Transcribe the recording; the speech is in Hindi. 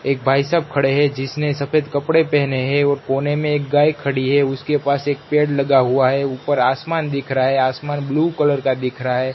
एक भाई साब खड़े हैं जिसने सफेद कपड़े पहने हैं और कोने में एक गाय खड़ी है उसके पास एक पेड़ लगा हुआ है ऊपर आसमान दिख रहा है आसमान ब्लू कलर का दिख रहा है।